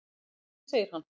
Góða kvöldið, segir hann.